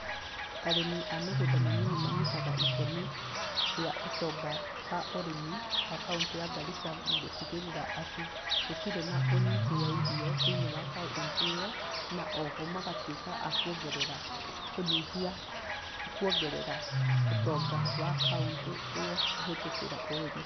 Arĩmi a mĩgũnda mĩnini manyitaga itemi rĩa ũtonga wa ũrĩmi wa kaũnti ya Garissa na gũtigĩrĩra atĩ gũtirĩ na ũnyihu wa irio thĩinĩ wa kaũnti ĩyo, na o ho magatuĩka a kũongerera kũnyihia, kũongerera ũtonga wa kaũntĩ ĩyo kũhĩtũkĩra ũrĩmi.